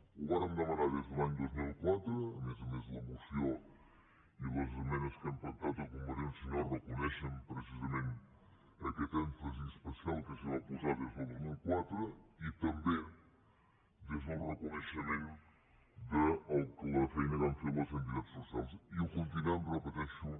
ho vàrem demanar des de l’any dos mil quatre a més a més la moció i les esmenes que hem pactat amb con·vergència i unió no reconeixen precisament aquest èm·fasi especial que s’hi va posar des del dos mil quatre i també des del reconeixement de la feina que han fet les entitats so cials i ho continuem ho repeteixo